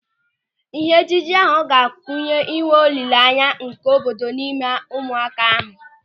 Ịhe ejije ahụ ga-kunye ịnwe ịhụnanya nke obodo n'ime ụmụaka ahụ.